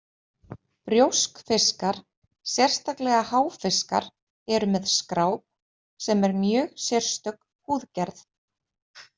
Brjóskfiskar, sérstaklega háfiskar, eru með skráp sem er mjög sérstök húðgerð.